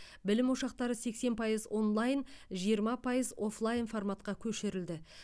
білім ошақтары сексен пайыз онлайн жиырма пайыз офлайн форматқа көшірілді